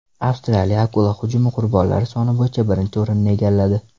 Avstraliya akula hujumi qurbonlari soni bo‘yicha birinchi o‘rinni egalladi.